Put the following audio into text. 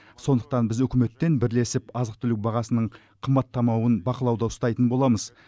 сондықтан біз үкіметтен бірлесіп азық түлік бағасының қымбаттамауын бақылауда ұстайтын боламыз